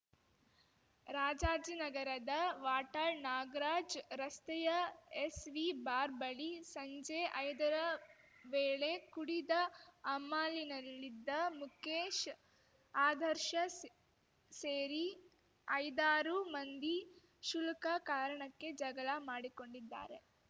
ರಾಜಾಜಿನಗರದ ವಾಟಾಳ್ ನಾಗರಾಜ್ ರಸ್ತೆಯ SV bar ಬಳಿ ಸಂಜೆ ಐದರ ವೇಳೆ ಕುಡಿದ ಅಮಲಿನಾಲ್ಲಿದ್ದ ಮುಕೇಶ್ ಆದರ್ಶ ಸ್ ಸೇರಿ ಐದಾರು ಮಂದಿ ಕ್ಷುಲ್ಕ ಕಾರಣಕ್ಕೆ ಜಗಳ ಮಾಡಿಕೊಂಡಿದ್ದಾರೆ